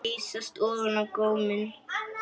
Geysast ofan góminn.